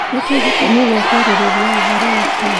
Nĩkĩ gĩtũmi gia kwarĩrĩa ũhoro ũcio?